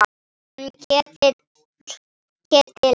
Hann Ketil?